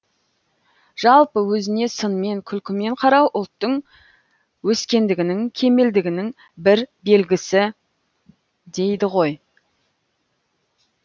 жалпы өзіне сынмен күлкімен қарау ұлттың өскендігінің кемелдігінің бір белгісі дейді ғой